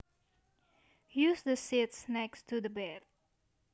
Use the sheets next to the bed